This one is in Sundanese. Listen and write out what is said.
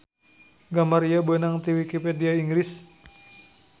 Gambar ieu beunang ti wikipedia Inggris